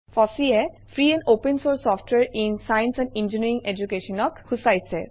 Fossee এ free and open source ছফটৱাৰে in science and engineering education ক সূচায়ছে